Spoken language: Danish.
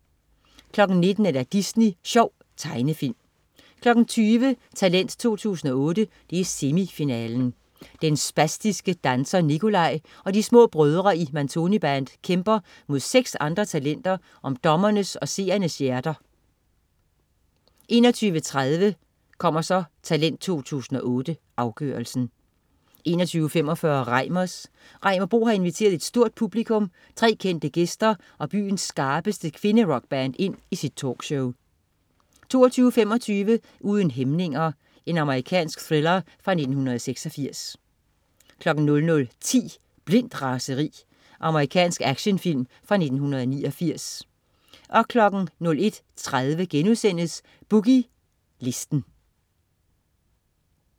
19.00 Disney Sjov. Tegnefilm 20.00 Talent 2008. Semifinale. Den spastiske danser Nikolaj og de små brødre i Matoni-band kæmper mod seks andre talenter om dommernes og seernes hjerter 21.30 Talent 2008. Afgørelsen 21.45 Reimers. Reimer Bo har inviteret et stort publikum, tre kendte gæster og byens skarpeste kvinderockband ind i sit talkshow 22.25 Uden hæmninger. Amerikansk thriller fra 1986 00.10 Blindt raseri. Amerikansk actionfilm fra 1989 01.30 Boogie Listen*